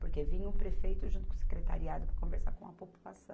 Porque vinha o prefeito junto com o secretariado para conversar com a população.